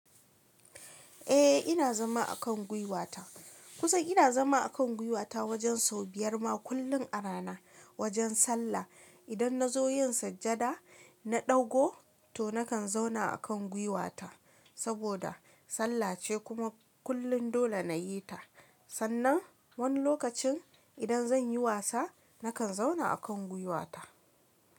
Eh ina zama a kan gwiwata. Kusan ina zama a kan gwiwata wajen sau biyar ma kullum a rana wajen sallah. Idan na zo yin sujada, na ɗaugo to nakan zauna a kan gwiwata saboda sallah ce kuma kullum dole na yi ta. Sannan wani lokacin idan zan yi wasa nakan zauna a kan gwiwata.